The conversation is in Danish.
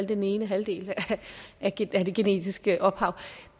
den ene halvdel af det genetiske ophav